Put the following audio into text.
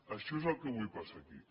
això és el que avui passa aquí